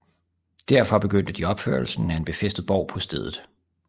Derfor begyndte de opførelsen af en befæstet borg på stedet